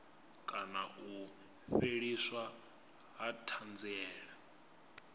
kana u fheliswa ha thanziela